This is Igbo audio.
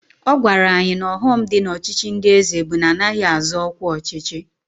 Ọ gwara anyị na ọghọm dị n'ọchịchị ndị eze bụ na anaghị azọ ọkwa ọchịchị